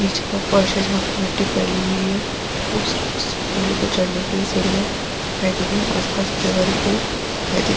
नीचे का फर्स जहां पे मिट्टी फैली हुई है वो सिर्फ उस झूले पे चढ़ने के लिए सीढ़ियाँ दिखाई दे रही है आस-पास हरे-भरे पेड़ दिखाई दे --